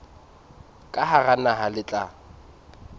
ka hara naha le tla